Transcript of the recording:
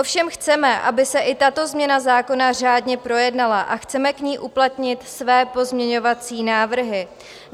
Ovšem chceme, aby se i tato změna zákona řádně projednala, a chceme k ní uplatnit své pozměňovací návrhy.